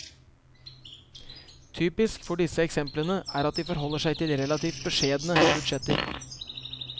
Typisk for disse eksemplene er at de forholder seg til relativt beskjedne budsjetter.